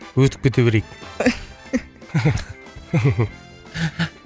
өтіп кете берейік